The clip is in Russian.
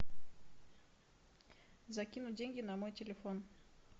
закинуть деньги на мой телефон